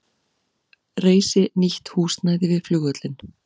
Reisi nýtt húsnæði við flugvöllinn